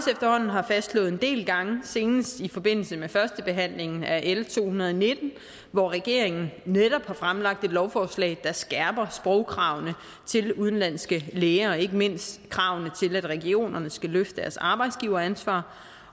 har fastslået en del gange senest i forbindelse med førstebehandlingen af l to hundrede og nitten hvor regeringen netop har fremsat et lovforslag der skærper sprogkravene til udenlandske læger og ikke mindst kravene til at regionerne skal løfte deres arbejdsgiveransvar